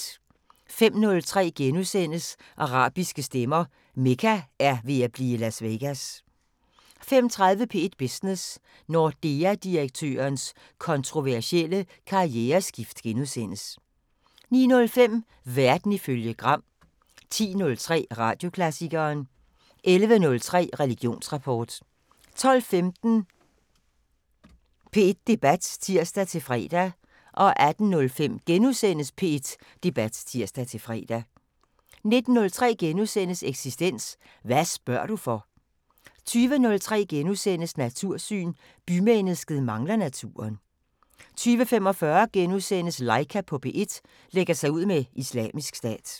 05:03: Arabiske stemmer: Mekka er ved at blive Las Vegas * 05:30: P1 Business: Nordea-direktørens kontroversielle karriereskift * 09:05: Verden ifølge Gram 10:03: Radioklassikeren 11:03: Religionsrapport 12:15: P1 Debat (tir-fre) 18:05: P1 Debat *(tir-fre) 19:03: Eksistens: Hvad spørger du for? * 20:03: Natursyn: Bymennesket mangler naturen * 20:45: Laika på P1 – lægger sig ud med Islamisk Stat *